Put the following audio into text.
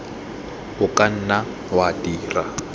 o ka nna wa dira